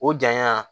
O janya